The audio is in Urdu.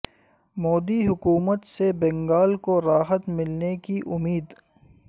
مودی حکومت سے بنگال کو راحت ملنے کی امید